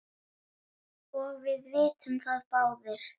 og við vitum það báðir.